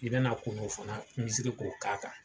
I bɛna kungo fana misisiri k'o k'a kan.